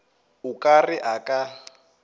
o ka re a ka